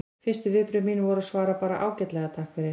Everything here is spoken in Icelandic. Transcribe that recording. Fyrstu viðbrögð mín voru að svara bara: Ágætlega, takk fyrir